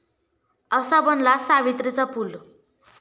असा बनला 'सावित्री'चा पूल...